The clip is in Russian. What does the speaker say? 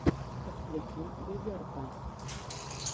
подключи дезерта